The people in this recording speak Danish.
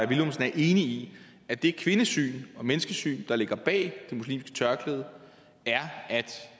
villumsen er enig i at det kvindesyn og menneskesyn der ligger bag det muslimske tørklæde er at